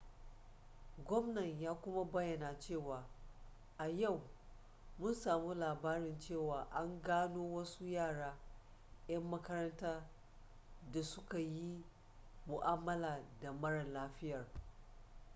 gwamnan ya kuma bayyana cewa a yau mun samu labarin cewa an gano wasu yara 'yan makaranta da suka yi mu'amala da mara lafiyar